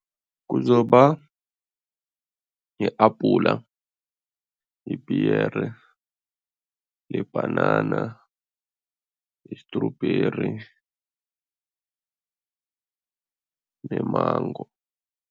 Kuzoba yi-abhula, ipiyere, libhanana, i-strawberry ne-mango.